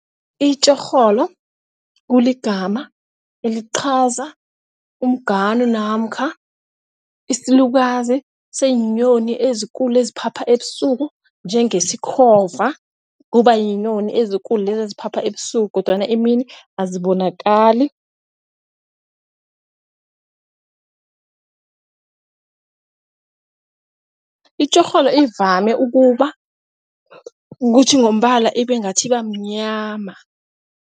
Itjorholo kuligama eliqhaza umngani namkha isilukazi senyoni ezikulu eziphatha ebusuku njengeyesikhova kubayinyoni ezikulu lezi eziphapha ebusuku kodwana imini azibonakali. Itjorholo ivame ukuba kuthi ngombala ibe ngathi ibamnyama.